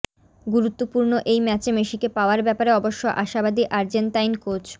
গুরুত্বপূর্ণ এই ম্যাচে মেসিকে পাওয়ার ব্যাপারে অবশ্য আশাবাদী আর্জেন্তাইন কোচ